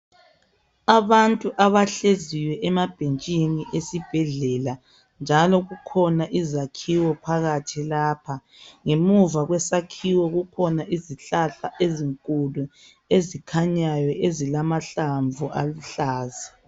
Abantu abahleziyo emabhentshini esibhedlela njalo kukhona izakhiwo phakathi lapha ngemuva kwesakhiwo kukhona izihlahla ezinkulu ezikhanyayo ezilamahlamvu aluhlaza.